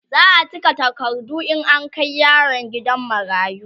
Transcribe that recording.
za'a cika takardu in an Kai yaron gidan marayu